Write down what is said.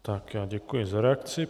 Tak já děkuji za reakci.